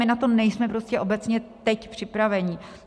My na to nejsme prostě obecně teď připraveni.